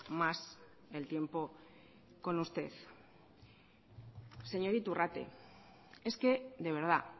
más el tiempo con usted señor iturrate es que de verdad